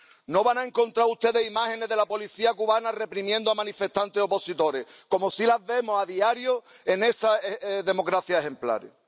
No van a encontrar ustedes imágenes de la policía cubana reprimiendo a manifestantes opositores, como sí las vemos a diario en esas democracias ejemplares.